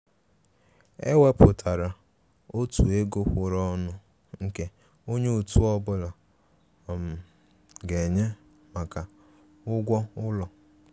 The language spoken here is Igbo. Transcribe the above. È wépụtárà ọ̀tụ̀ égò kwụ̀ụrụ̀ ọnụ nke ònye òtù ọ́bụ̀la um ga-ènyé maka ụ́gwọ́ ụlọ.